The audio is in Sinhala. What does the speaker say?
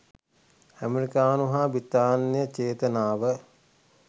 ඇමෙරිකානු හා බ්‍රිතාන්‍ය චේතනාව